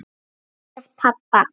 Með pabba.